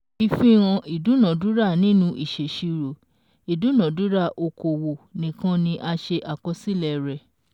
Ìfihàn ìdúnadúrà Nínú ìṣèṣirò, ìdúnadúrà okòwò nìkan ni a ṣe àkọsílẹ̀ rẹ̀